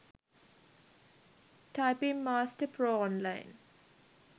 typing master pro online